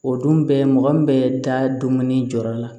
O dun bɛ mɔgɔ min bɛ da dumuni jɔyɔrɔ la